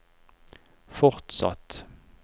fortsatt